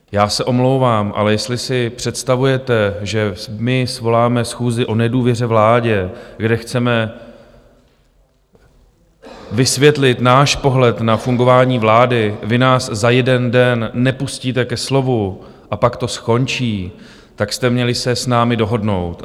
Já se omlouvám, ale jestli si představujete, že my svoláme schůzi o nedůvěře vládě, kde chceme vysvětlit náš pohled na fungování vlády, vy nás za jeden den nepustíte ke slovu a pak to skončí, tak jste měli se s námi dohodnout.